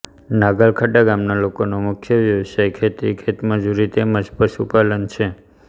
નાગલખડા ગામના લોકોનો મુખ્ય વ્યવસાય ખેતી ખેતમજૂરી તેમ જ પશુપાલન છે